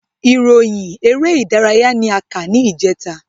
Ìròyìn eré ìdárayá ni a kà ní ìjẹta